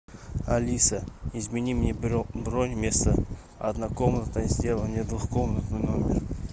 алиса измени мне бронь вместо однокомнатной сделай мне двухкомнатный номер